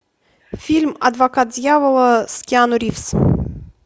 фильм адвокат дьявола с киану ривз